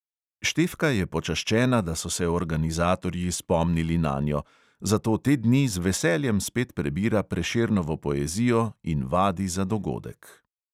Štefka je počaščena, da so se organizatorji spomnili nanjo, zato te dni z veseljem spet prebira prešernovo poezijo in vadi za dogodek.